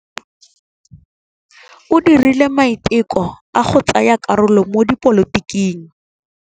O dirile maitekô a go tsaya karolo mo dipolotiking.